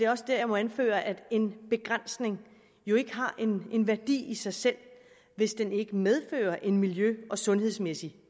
også der jeg må anføre at en begrænsning jo ikke har en værdi i sig selv hvis den ikke medfører en miljø og sundhedsmæssig